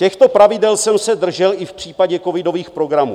Těchto pravidel jsem se držel i v případě covidových programů.